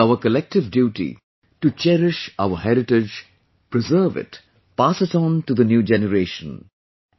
It is our collective duty to cherish our heritage, preserve it, pass it on to the new generation...